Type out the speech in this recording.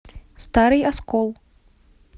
старый оскол